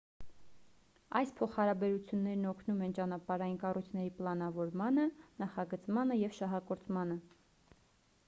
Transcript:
այս փոխհարաբերություններն օգնում են ճանապարհային կառույցների պլանավորմանը նախագծմանը և շահագործմանը